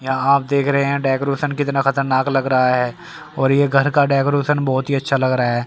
यहां आप देख रहे हैं डेकोरेशन कितना खतरनाक लग रहा है और ये घर का डेकोरेशन बहोत ही अच्छा लग रहा है।